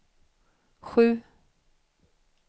sju